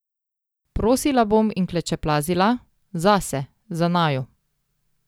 Prosila bom in klečeplazila, zase, za naju.